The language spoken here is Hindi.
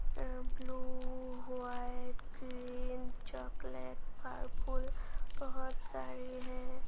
अ ब्लू हुआ है क्रीम चॉकलेट पर्पल बहोत सारी है।